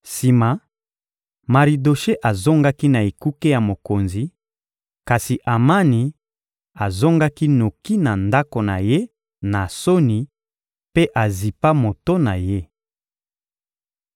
Sima, Maridoshe azongaki na ekuke ya mokonzi; kasi Amani azongaki noki na ndako na ye, na soni mpe azipa moto na ye.